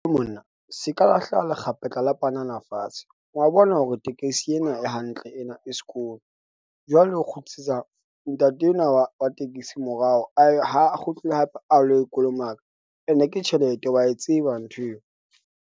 Monna se ka lahlela lekgapetla la panana fatshe wa bona hore tekesi ena e hantle ena e skoon. Jwale o kgutlisetsa ntate enwa wa wa tekesi morao a ha kgutluwe hape a lo e kolomaka ene ke tjhelete, wa e tseba nthweo.